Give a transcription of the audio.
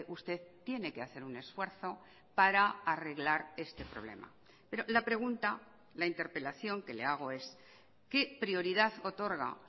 usted tiene que hacer un esfuerzo para arreglar este problema pero la pregunta la interpelación que le hago es qué prioridad otorga